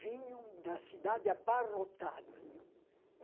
vinham da cidade abarrotados.